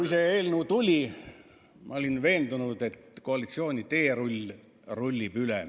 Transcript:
Kui see eelnõu tuli, siis ma olin veendunud, et koalitsiooni teerull rullib üle.